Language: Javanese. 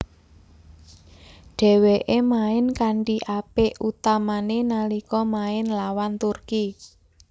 Dheweke main kanthi apik utamane nalika main lawan Turki